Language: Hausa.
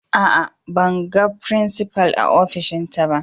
Aa, ban gan frincipa'n a ofishin ta ba.